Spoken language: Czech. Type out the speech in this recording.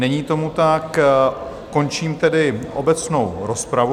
Není tomu tak, končím tedy obecnou rozpravu.